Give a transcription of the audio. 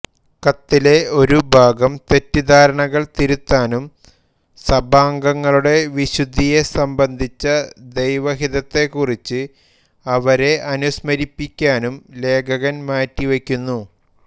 കത്തിലെ ഒരു ഭാഗം ഈ തെറ്റിദ്ധാരണകൾ തിരുത്താനും സഭാംഗങ്ങളുടെ വിശുദ്ധിയെ സംബന്ധിച്ച ദൈവഹിതത്തെക്കുറിച്ച് അവരെ അനുസ്മരിപ്പിക്കാനും ലേഖകൻ മാറ്റിവയ്ക്കുന്നു